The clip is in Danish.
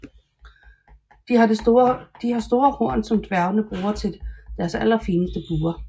De har har store horn som dværgene bruger til deres allerfineste buer